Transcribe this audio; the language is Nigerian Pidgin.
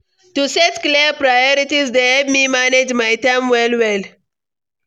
To set clear priorities dey help me manage my time well well.